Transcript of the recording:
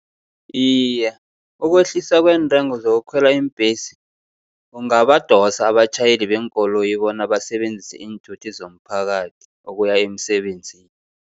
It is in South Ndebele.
Iye, ukwehliswa kweentengo zokukhwela iimbhesi, kungabadosa abatjhayeli beenkoloyi bona basebenzise iinthuthi zomphakathi, ukuya emsebenzini.